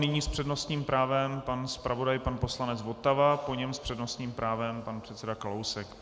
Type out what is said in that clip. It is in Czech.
Nyní s přednostním právem pan zpravodaj pan poslanec Votava, po něm s přednostním právem pan předseda Kalousek.